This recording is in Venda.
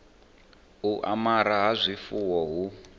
u amara ha zwifuwo hu